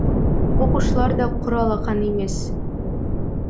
оқушылар да құр алақан емес